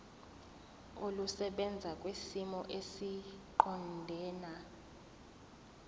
olusebenza kwisimo esiqondena